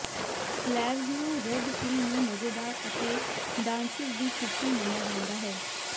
Slavs ਨੂੰ Red Hill ਨੂੰ ਮਜ਼ੇਦਾਰ ਅਤੇ ਡਾਂਸਿਸ ਦੀ ਛੁੱਟੀ ਮੰਨਿਆ ਜਾਂਦਾ ਸੀ